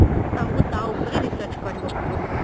ତ ଆମକୁ ତା ଉଆପରେ research କରିବାକୁ ପଡିବ